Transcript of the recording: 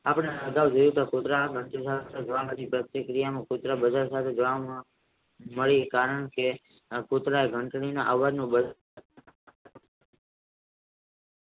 કારણકે કુતરા એ ઘંટડીના અવાજ નું